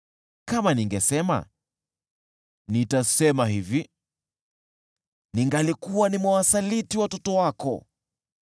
Kama ningesema, “Nitasema hivi,” ningelikuwa nimewasaliti watoto wako.